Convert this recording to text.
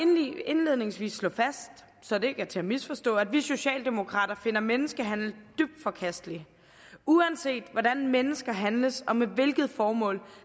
indledningsvis slå fast så det ikke er til at misforstå at vi socialdemokrater finder menneskehandel dybt forkastelig uanset hvordan mennesker handles og med hvilket formål